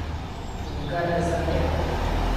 Nikar ne zardevajte.